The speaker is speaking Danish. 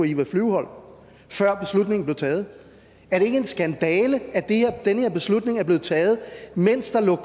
eva flyvholm før beslutningen blev taget er det ikke en skandale at den her beslutning er blevet taget mens der lå